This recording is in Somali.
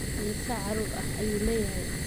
Immisa carruur ah ayuu leeyahay?